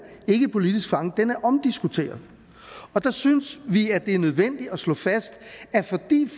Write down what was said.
politisk fange er omdiskuteret der synes vi at det er nødvendigt at slå fast at fordi